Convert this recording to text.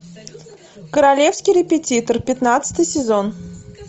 королевский репетитор пятнадцатый сезон